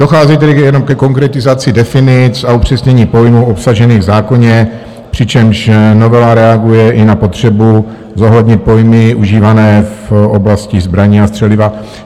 Dochází tedy jenom ke konkretizaci definic a upřesnění pojmů obsažených v zákoně, přičemž novela reaguje i na potřebu zohlednit pojmy užívané v oblasti zbraní a střeliva.